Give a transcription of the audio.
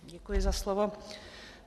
Děkuji za slovo.